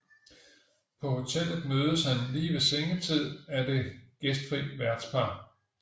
På hotellet mødes han lige ved sengetid af det gæstfri værtspar